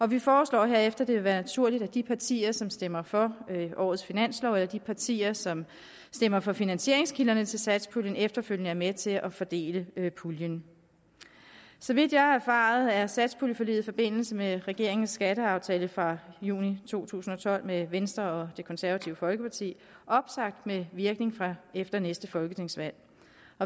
vi foreslår herefter at det vil være naturligt at de partier som stemmer for årets finanslov eller de partier som stemmer for finansieringskilderne til satspuljen efterfølgende er med til at fordele puljen så vidt jeg har erfaret er satspuljeforliget i forbindelse med regeringens skatteaftale fra juni to tusind og tolv med venstre og det konservative folkeparti opsagt med virkning fra efter næste folketingsvalg